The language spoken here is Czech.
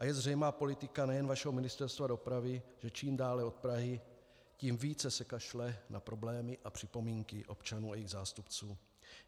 A je zřejmá politika nejen vašeho Ministerstva dopravy, že čím dále od Prahy, tím více se kašle na problémy a připomínky občanů a jejich zástupců.